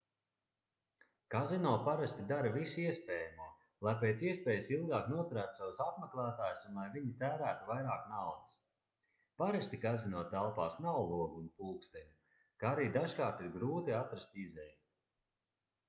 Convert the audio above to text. kazino parasti dara visu iespējamo lai pēc iespējas ilgāk noturētu savus apmeklētājus un lai viņi tērētu vairāk naudas parasti kazino telpās nav logu un pulksteņu kā arī dažkārt ir grūti atrast izeju